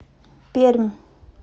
пермь